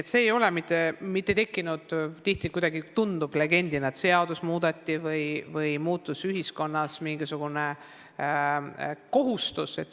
Tihti tundub, on nagu legend, et seadust muudeti või muutus ühiskonnas mingisugune kohustus.